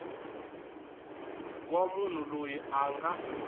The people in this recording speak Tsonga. wa munhu loyi a nga